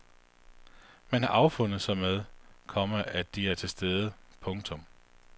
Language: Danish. Man har affundet sig med, komma at de er til stede. punktum